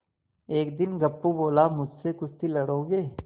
एक दिन गप्पू बोला मुझसे कुश्ती लड़ोगे